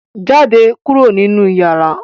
Jáde kúrò nínú yàrá!